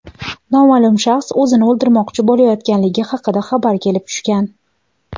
noma’lum shaxs o‘zini o‘ldirmoqchi bo‘layotganligi haqida xabar kelib tushgan.